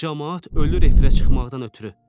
Camaat ölür efirə çıxmaqdan ötrü.